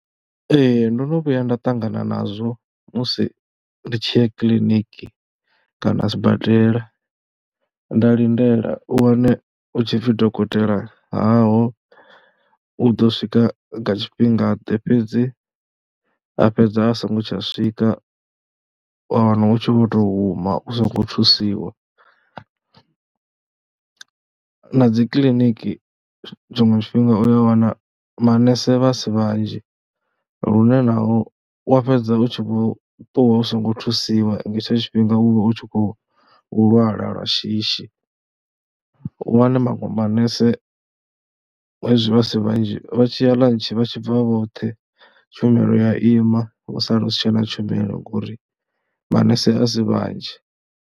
Ee ndo no vhuya nda ṱangana nazwo musi ndi tshi ya kiḽiniki kana sibadela nda lindela, u wane hu tshi pfhi dokotela haho, u ḓo swika nga tshifhingaḓe fhedzi a fhedza a songo tsha swika. Wa wana u tshi vho tou huma u songo thusiwa na dzi kiḽiniki tshiṅwe tshifhinga u ya wana manese vha si vhanzhi lune naho u ya fhedza u tshi vho ṱuwa u songo thusiwa. Nga hetsho tshifhinga u vha u tshi khou lwala lwa shishi, u wane maṅwe manese hezwi vha si vhanzhi, vha tshi ya ḽantshi vha tshi bva vhoṱhe, tshumelo ya ima ha sala u si tshena tshumelo ngori manese a si vhanzhi.